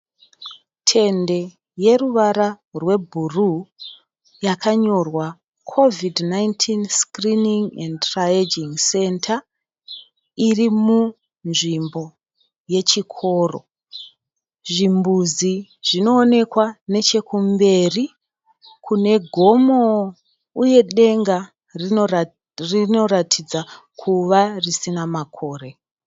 Tende yeruvara rwebhuruu yakanyorwa "COVID-19 SCREENING & TRIAGING CENTER" iri munzvimbo yechikoro. Zvimbuzi zvinowonekwa nechekumberi kune gomo uye denga rinoratidza kuva risina makore.